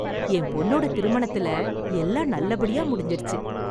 என் பொண்ணோட திருமணத்தில எல்லாம் நல்லபடியா முடிஞ்சிடுச்சு.